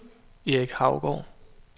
Erik Haugaard